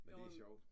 Men det sjovt